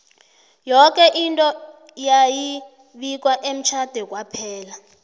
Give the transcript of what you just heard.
yoke into yayi bikwa emtjhade kwaphela